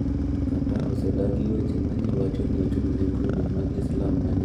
Qatar osedagi weche ma ji wacho ni ochung’ ne grube mag Islam ma nigi kido mar ng’anjo.